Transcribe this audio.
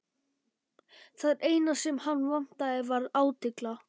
Það eina sem hann vantaði var átylla.